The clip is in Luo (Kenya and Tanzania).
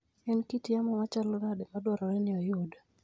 En kit yamo machalo nade madwarore ni oyud?